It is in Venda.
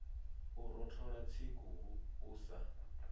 u rothola tsiku u sa